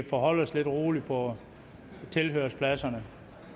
forholde sig lidt roligt på tilhørerpladserne